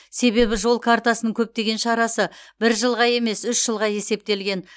себебі жол картасының көптеген шарасы бір жылға емес үш жылға есептелген